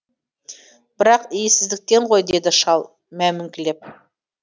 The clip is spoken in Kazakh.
бірақ иесіздіктен ғой деді шал мәймөңкілеп